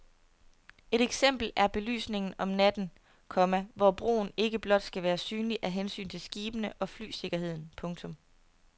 Et eksempel er belysningen om natten, komma hvor broen ikke blot skal være synlig af hensyn til skibene og flysikkerheden. punktum